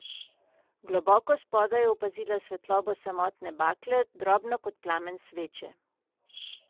Globoko spodaj je opazila svetlobo samotne bakle, drobno kot plamen sveče.